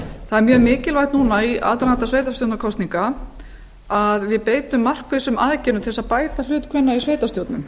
mjög mikilvægt núna í aðdraganda sveitarstjórnarkosninga að við beitum markvissum aðgerðum til að bæta hlut kvenna í sveitarstjórnum